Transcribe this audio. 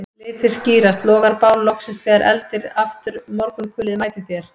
Litir skýrast, logar bál loksins þegar eldir aftur morgunkulið mætir þér